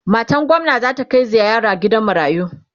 matan gwamna zata Kai ziyara gidan marayu